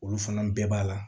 Olu fana bɛɛ b'a la